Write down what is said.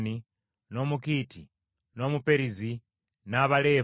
n’Omukiiti, n’Omuperizi, n’Abaleefa,